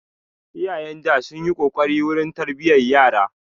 Iyayen da sunyi kokari wurin tarbiyan yara